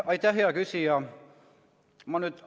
Aitäh, hea küsija!